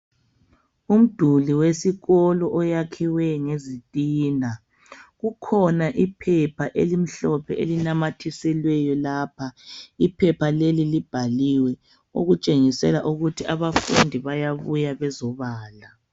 Umduli wesikolo owakhiwe ngezitina kukhona iphepha elimhlophe elinamathiselweyo lapha, iphepha lelo libhaliwe okutshengisela ukuthi abafundi bayabuya bezobala.